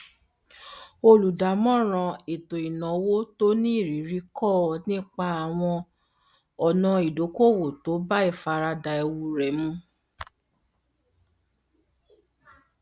olùdámọràn ètòìnáwó tó ní ìrírí kọ ọ nípa àwọn ọnà idókòòwò tó bá ìfaradà ewu rẹ mu